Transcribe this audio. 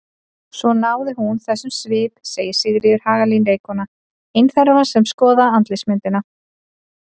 Svo hún náði þessum svip segir Sigríður Hagalín leikkona, ein þeirra sem skoða andlitsmyndina.